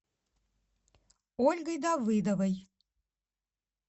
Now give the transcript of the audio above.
ольгой давыдовой